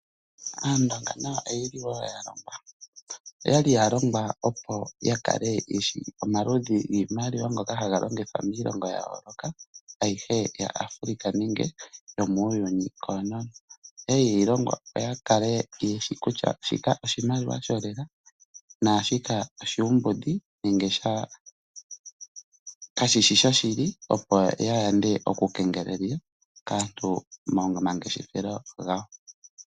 Aandonga nayo oyeli wo ya longwa, oyali ya longwa opo ya kale yeshi omaludhi giimaliwa ngoka haga longithwa miilongo yayooloka ayihe yaAfrica nenge yomuuyuni koonono. Okwali ye yi longwa opo ya kale yeshi kutya shika oshimaliwa sholela naashika oshuumbudhi nenge kashishi shoshili opo ya yande okukengelelwa kaantu momangeshefelo gawo.